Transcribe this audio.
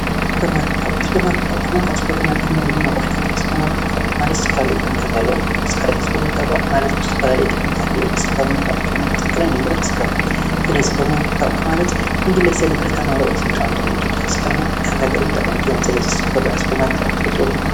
ሱፐርማርኬት ኣቕሑ ሱፐርማርኬት ኣቕሑ ማለት ኣብ ሱፐርማርኬት ኣቕሑ ዝተፈላለዩ ኣቕሑ ዝተፈላለዩ ጥቅምታት ኣለዎም፡፡ ንዝተፈላለዩ ጥቅምታት ይውዕል፡፡ ስለዚ ሱፐርማርኬት ኣቕሑ ማለት ንግለሰብ ንዕለታዊ ናብርኡ ብጣዕሚ ጠቃሚ እዩ፡፡ ንሓንቲ ሃገር እውን ጠቃሚ እዩ፡፡ ብዛዕባ ሱፐርማርኬት ኣቕሑ ትፈልጥዎም እኔውኹምዶ?